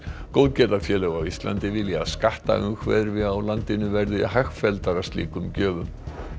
góðgerðarfélög á Íslandi vilja að skattaumhverfi á Íslandi verði hagfelldara slíkum gjöfum